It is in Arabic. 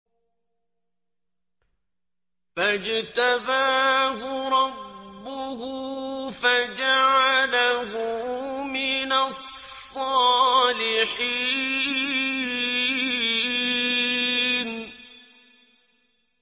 فَاجْتَبَاهُ رَبُّهُ فَجَعَلَهُ مِنَ الصَّالِحِينَ